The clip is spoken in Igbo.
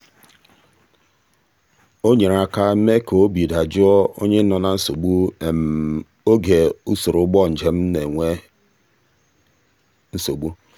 o nyere aka mee ka obi dajụọ onye nọ na nsogbu oge usoro ụgbọ njem na-egbu oge.